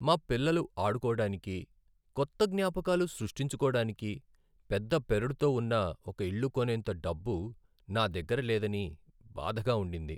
మా పిల్లలు ఆడుకోడానికి, కొత్త జ్ఞాపకాలు సృష్టించుకోడానికి పెద్ద పెరడుతో ఉన్న ఒక ఇల్లు కొనేంత డబ్బు నా దగ్గర లేదని బాధగా ఉండింది.